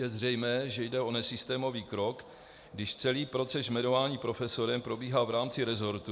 Je zřejmé, že jde o nesystémový krok, když celý proces jmenování profesorem probíhá v rámci rezortu...